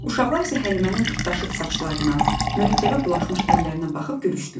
Uşaqlar isə Həlimənin pırtdaşıq saçlarına, mürəkkəbə bulaşmış əllərinə baxıb gülüşdülər.